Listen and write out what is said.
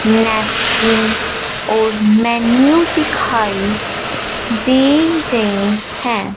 Napkin और menu दिखाई दे रहे हैं।